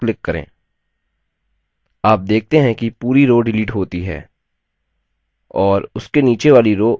आप देखते हैं कि पूरी row डिलीट होती है और उसके नीचे वाली row ऊपर आ जाती है